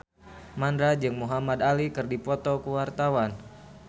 Mandra jeung Muhamad Ali keur dipoto ku wartawan